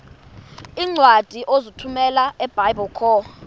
iincwadi ozithumela ebiblecor